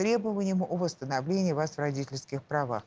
требованием о восстановлении вас в родительских правах